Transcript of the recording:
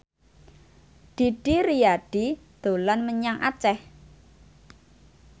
Didi Riyadi dolan menyang Aceh